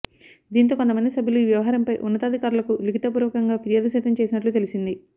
దీంతో కొంత మంది సభ్యులు ఈ వ్యవహారంపై ఉన్నతాధికారులకు లిఖిత పూర్వకంగా ఫిర్యాదు సైతం చేసినట్లు తెలిసింది